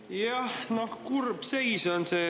Jah, no kurb on see.